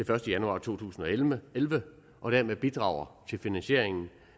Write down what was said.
første januar to tusind og elleve elleve og dermed bidrager til finansieringen